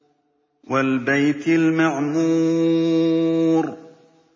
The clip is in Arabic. وَالْبَيْتِ الْمَعْمُورِ